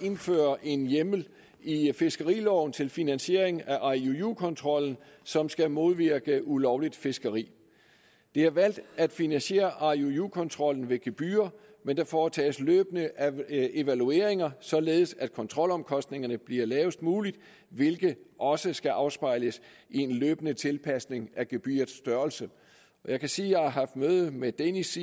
indføre en hjemmel i fiskeriloven til finansiering af iuu kontrollen som skal modvirke ulovligt fiskeri det er valgt at finansiere iuu kontrollen ved gebyrer men der foretages løbende evalueringer således at kontrolomkostningerne bliver lavest mulige hvilket også skal afspejles i en løbende tilpasning af gebyrets størrelse jeg kan sige at jeg har haft møde med danish